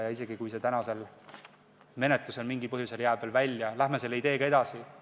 Ja isegi kui see täna jääb menetlusest mingil põhjusel välja, läheme selle ideega edasi!